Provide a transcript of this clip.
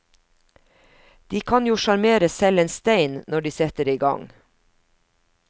De kan jo sjarmere selv en stein når de setter i gang.